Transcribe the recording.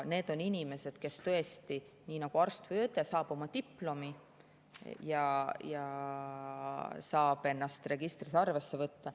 Kui arst või õde saab oma diplomi, siis ta saab ennast registris arvele võtta.